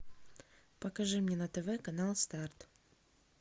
покажи мне на тв канал старт